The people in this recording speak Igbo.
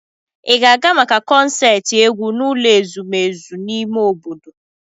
Ị ga-aga maka konserti egwu n'ụlọ ezumezu ime obodo?